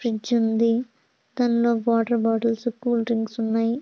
Fridge ఉంది. దాన్లో water bottles cool drinks ఉన్నయ్.